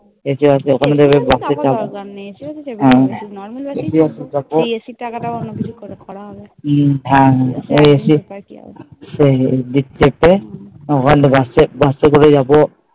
এটা হচ্ছে সেই রাস্তায় বাসে করে যাবো